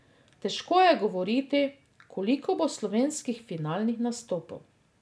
Težko je govoriti, koliko bo slovenskih finalnih nastopov.